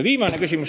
Viimane asi.